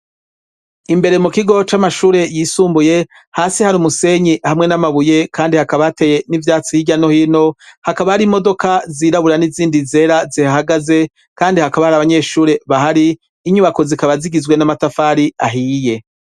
Imbere mu kigo c'amashure yisumbuye hasi hari umusenyi hamwe n'amabuye kandi hakaba hateye n'ivyatsi hirya no hino hakaba hari imodoka zirabura n'izindi zera zihahagaze kandi hakaba hari abanyeshuri bahari inyubako zikaba zigizwe n'amatafari ahiye.